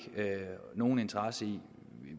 nogen interesse i